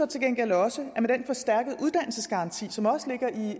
til gengæld også at med den forstærkede uddannelsesgaranti som også ligger i